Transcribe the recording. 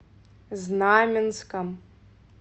знаменском